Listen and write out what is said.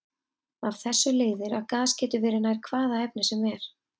Af þessu leiðir að gas getur verið nær hvaða efni sem er.